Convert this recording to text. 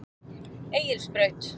Egilsbraut